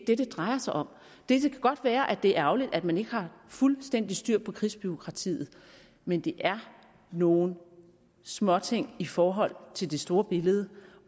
det det drejer sig om det kan godt være at det er ærgerligt at man ikke har fuldstændig styr på krigsbureaukratiet men det er nogle småting i forhold til det store billede